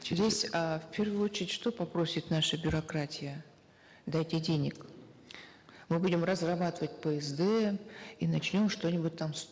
здесь э в первую очередь что попросит наша бюрократия дайте денег мы будем разрабатывать псд и начнем что нибудь там